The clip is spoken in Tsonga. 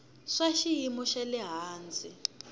swa xiyimo xa le hansi